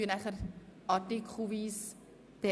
Die Abstimmung erfolgt artikelweise.